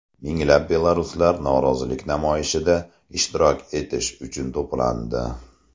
Minglab belaruslar norozilik namoyishida ishtirok etish uchun to‘plandi .